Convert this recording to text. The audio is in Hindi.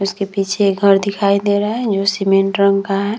उसके पीछे ये घर दिखाई दे रहा है जो सीमेंट रंग का है।